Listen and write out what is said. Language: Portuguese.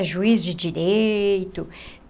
É juiz de direito.